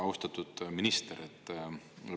Austatud minister!